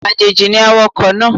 Àjèjì ni awakọ̀ náà